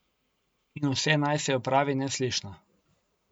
In vse naj se opravi neslišno.